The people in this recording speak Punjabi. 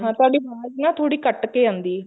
ਤੁਹਾਡੀ ਅਵਾਜ਼ ਨਾ ਥੋੜੀ ਕੱਟ ਕੇ ਆਉਂਦੀ